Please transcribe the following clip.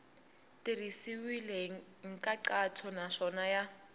tirhisiwile hi nkhaqato naswona ya